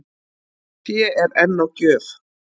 Fé er enn á gjöf